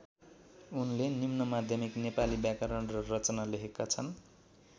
उनले निम्नमाध्यमिक नेपाली व्याकरण र रचना लेखेका छन्।